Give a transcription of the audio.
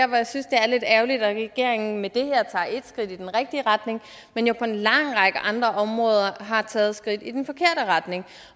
jeg synes det er lidt ærgerligt at regeringen med det her tager et skridt i den rigtige retning men jo på en lang række andre områder har taget skridt i den forkerte retning